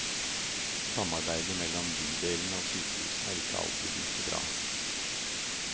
Samarbeidet mellom bydelene og sykehusene er ikke alltid like bra.